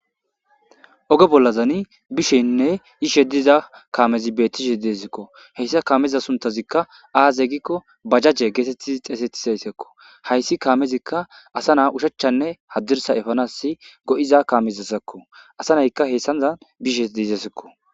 Ooge bollazani bishenne ishe diza kaamezi bettishe deezikko heyssa kaameza suntazikka aaze gikko bajajje geetettizi xeesettizayssekko hayssi kaamezikka asa naa ushachchanne haddirsa efanasi go7iza kaamezassakko asa naykka heyssanzan bishe deizesekko.